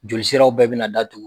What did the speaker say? Jolisiraw bɛɛ bɛna datugu